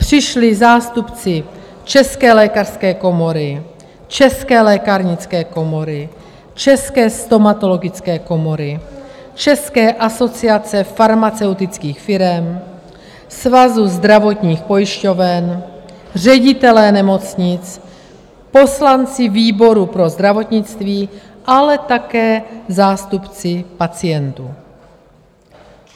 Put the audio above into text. Přišli zástupci České lékařské komory, České lékárnické komory, České stomatologické komory, České asociace farmaceutických firem, Svazu zdravotních pojišťoven, ředitelé nemocnic, poslanci výboru pro zdravotnictví, ale také zástupci pacientů.